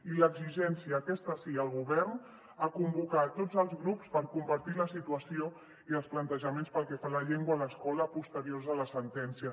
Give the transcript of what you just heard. i l’exigència aquesta sí al govern a convocar tots els grups per compartir la situació i els plantejaments pel que fa a la llengua a l’escola posteriors a la sentència